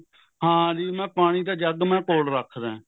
ਹਾਂਜੀ ਮੈਂ ਪਾਣੀ ਦਾ ਜੱਗ ਮੈਂ ਕੋਲ ਰੱਖਦਾ